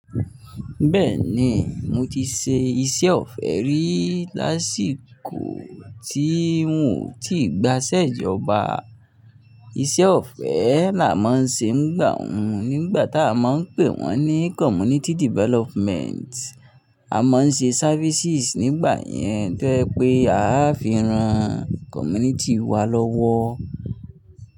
Bẹ́ẹ̀ni, mo ti ṣe iṣẹ́ ọ̀fẹ́ rí lásìkò tí n ò tí gbaṣẹ́ ìjọba. Iṣẹ́ ọ̀fẹ́ là má n ṣe nígbà hun, nígbà tá a máa ń pè wọ́n ní Community Development. A máa ń ṣe services nígbà yẹn tó ẹ pé a á fi ran community wa lọ́wọ́.